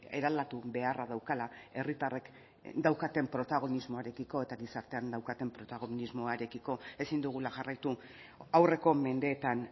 eraldatu beharra daukala herritarrek daukaten protagonismoarekiko eta gizartean daukaten protagonismoarekiko ezin dugula jarraitu aurreko mendeetan